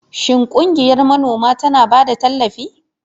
Shin ƙungiyar manoma tana ba da tallafi?